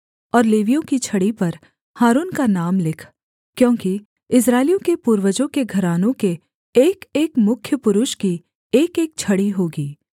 और लेवियों की छड़ी पर हारून का नाम लिख क्योंकि इस्राएलियों के पूर्वजों के घरानों के एकएक मुख्य पुरुष की एकएक छड़ी होगी